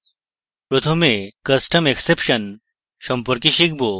প্রথমে custom exception সম্পর্কে শিখব